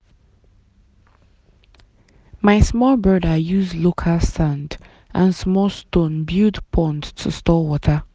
my small brother use local sand and small stone build pond to store water.